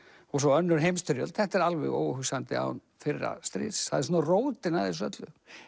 og svo önnur heimsstyrjöld þetta er alveg óhugsandi án fyrra stríðs það er svona rótin að þessu öllu